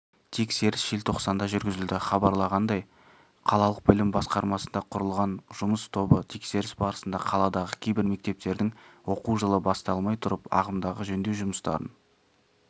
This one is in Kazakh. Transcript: тексеріс желтоқсанда жүргізілді хабарланғандай қалалық білім басқармасында құрылған жұмыс тобы тексеріс барысында қаладағы кейбір мектептердің оқу жылы басталмай тұрып ағымдағы жөндеу жұмыстарын